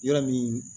Yɔrɔ min